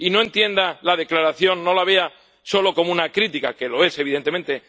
Y no entienda la declaración, no la vea solo como una crítica —que lo es, evidentemente—.